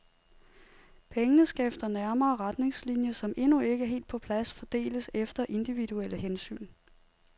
Pengene skal efter nærmere retningslinjer, som endnu ikke er helt på plads, fordeles efter individuelle hensyn.